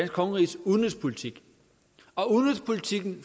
kongeriges udenrigspolitik og udenrigspolitikken